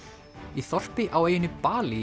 í þorpi á eyjunni Balí